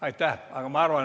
Aitäh!